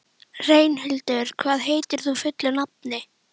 Reynhildur, hvað heitir þú fullu nafni?